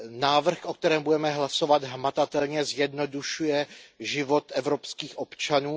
Návrh, o kterém budeme hlasovat, hmatatelně zjednodušuje život evropských občanů.